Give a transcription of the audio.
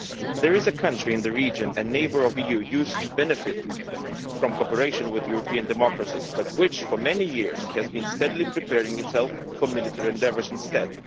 There is a country in the region, a neighbour of the EU, which used to benefit from cooperation with European democracies but which, for many years, has been steadily preparing itself for military endeavours instead.